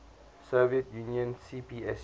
soviet union cpsu